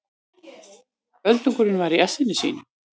Öldungurinn var í essinu sínu.